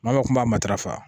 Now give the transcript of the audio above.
Maa kuma matarafa